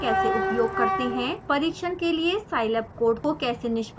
परीक्षण के लिए scilab code को कैसे निष्पादित करते हैं